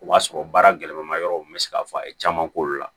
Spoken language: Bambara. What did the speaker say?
O b'a sɔrɔ baara gɛlɛman ma yɔrɔ bɛ se k'a fɔ a ye caman k'olu la